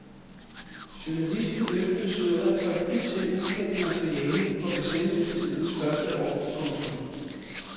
Journalisten løftede sløret for et hidtil ukendt materiale fra besættelsestidens første år. punktum